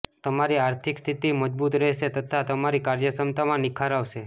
તમારી આર્થિક સ્થિતિ મજબૂત રહેશે તથા તમારી કાર્યક્ષમતામાં નિખાર આવશે